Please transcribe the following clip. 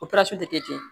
O tɛ kɛ tiɲɛ ye